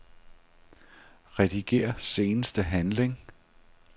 Rediger seneste handling.